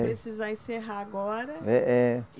Precisar encerrar agora. É, é